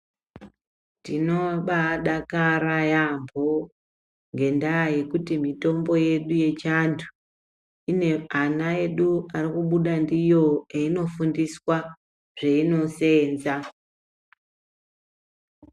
Tinobadakara yambo ngendaa yekuti mitombo yedu yechando ine ana edu ari kubuda ndiyo einofundiswa zveinoseenza.